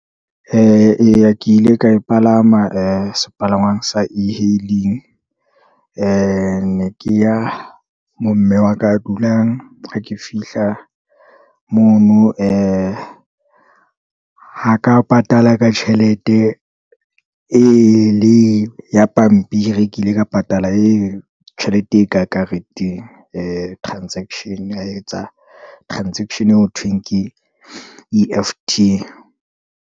Eya ke ile ka e palama, sepalangwang sa e-Hailing, ne ke ya mo mme wa ka a dulang, ha ke fihla mono, ha ka patala ka tjhelete e le ya pampiri, kile ka patala e tjhelete e ka kareteng, transaction-e, a etsa transaction -e e ho thweng ke E_F_T.